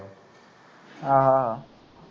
ਆਹ